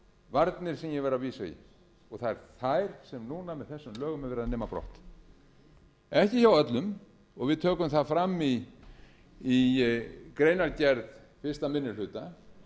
varnir sem ég var að vísa í það eru þær sem núna með þessum lögum er verið að nema brott ekki hjá öllum og við tökum það fram í greinargerð fyrsti minni hluta